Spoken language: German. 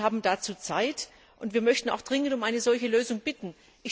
Sie haben dazu Zeit, und wir möchten auch dringend um eine solche Lösung bitten.